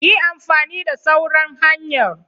Yi amfani da sauran hanyar.